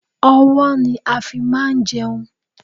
Ọ̀wọ́ ni a fi máa ń jẹun